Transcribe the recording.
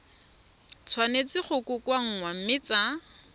tshwanetse go kokoanngwa mme tsa